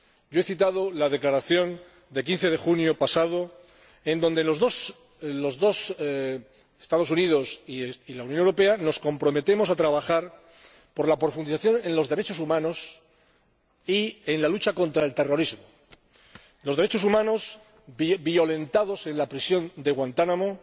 Yo he citado la declaración del pasado 15 de junio pasado en la que los Estados Unidos y la Unión Europea nos comprometemos a trabajar por la profundización en los derechos humanos y en la lucha contra el terrorismo los derechos humanos violentados en la prisión de Guantánamo,